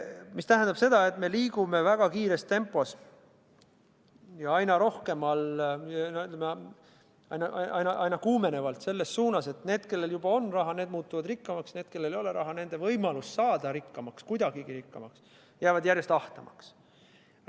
See tähendab seda, et me liigume väga kiires tempos ja aina kuumenevalt selles suunas, et need, kellel juba on raha, muutuvad rikkamaks, ning nende võimalus, kellel ei ole raha, saada rikkamaks, kuidagigi rikkamaks, jääb järjest ahtamaks.